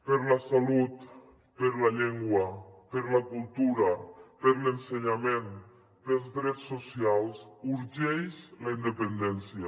per la salut per la llengua per la cultura per l’ensenyament pels drets socials urgeix la independència